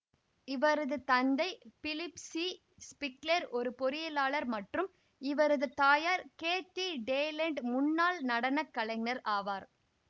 இவரது தந்தை Philip C Spiegler ஒரு பொறியியலாளர் மற்றும் இவரது தாயார் கேத்தி டேலண்ட் முன்னாள் நடன கலைஞர் ஆவார்